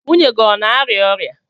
Nwunye gị ọ na-arịa ọrịa?